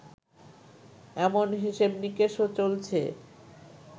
এমন হিসেব-নিকেশও চলছে